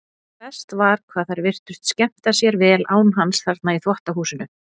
Verst var hvað þær virtust skemmta sér vel án hans þarna í þvottahúsinu.